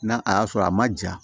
Na a y'a sɔrɔ a ma ja